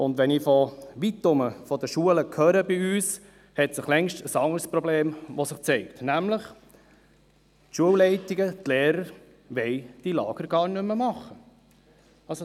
Wenn ich von weiterherum von den Schulen bei uns höre, hat sich längst ein anderes Problem gezeigt, und zwar, dass die Schulleitungen, die Lehrer diese Lager gar nicht mehr durchführen wollen.